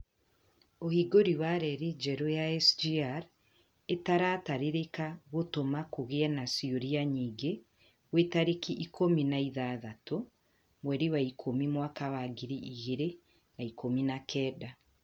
ũhingũrĩ wa rerĩ njerũ ya SGR ĩtaratarĩrĩka gũtũma kũgĩe na ciuria nyingĩ gwĩ tarĩki ikũmi na ithathaũ mweri wa ikũmi mwaka wa gĩrĩ igĩrĩ na ikũmi na kenda